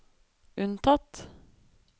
unntatt